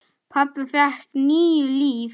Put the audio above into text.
Pabbi fékk níu líf.